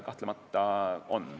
Kahtlemata on.